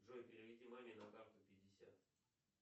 джой переведи маме на карту пятьдесят